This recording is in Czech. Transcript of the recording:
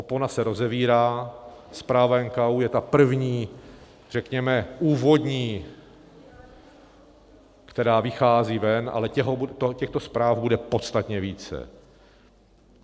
Opona se rozevírá, zpráva NKÚ je ta první, řekněme úvodní, která vychází ven, ale těchto zpráv bude podstatně více.